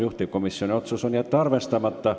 Juhtivkomisjoni otsus: jätta arvestamata.